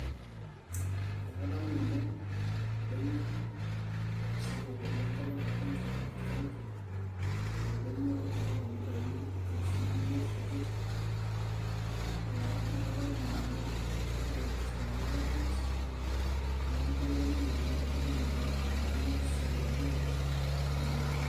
ee kadamu nanu oldonyio sapuk otii enkop ang e kenya aa mount kenya oldonyio loota imitai inkalifuni imiet o toki ee naa kadamu nanu ena baye naas iltung'anak ai hike ninye nalotu elukunya ai oleng naa tenadol naa oldonyio sapuk laijo ele le mount kenya.